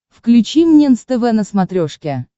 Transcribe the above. включи мне нств на смотрешке